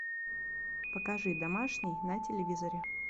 покажи домашний на телевизоре